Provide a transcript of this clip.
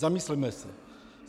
Zamysleme se!